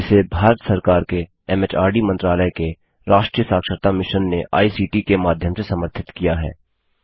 जिसे भारत सरकार के एमएचआरडी मंत्रालय के राष्ट्रीय साक्षरता मिशन ने आई सीटी के माध्यम से समर्थित किया है